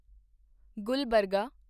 Gulbarga